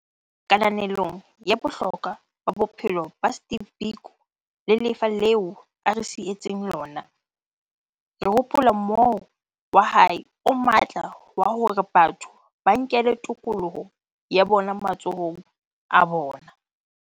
Kananelong ya bohlokwa ba bophelo ba Steve Biko le lefa leo a re sietseng lona, re hopola mohoo wa hae o matla wa hore batho ba nkele tokoloho ya bona matsohong a bona.